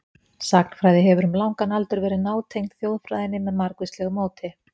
Sagnfræði hefur um langan aldur verið nátengd þjóðfræðinni með margvíslegu móti.